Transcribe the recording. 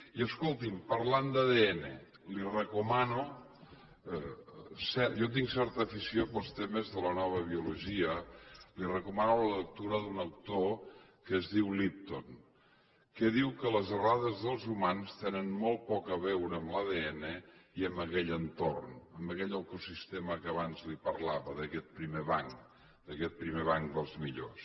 i escolti’m parlant d’adn li recomano jo tinc certa afició pels temes de la nova biologia la lectura d’un autor que es diu lipton que diu que les errades dels humans tenen molt poc a veure amb l’adn i amb aquell entorn amb aquell ecosistema que abans li parlava d’aquest primer banc d’aquest primer banc dels millors